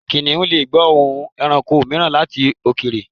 Kìnnìún lè gbọ́ òórùn ẹranko mìíràn láti òkèèrè.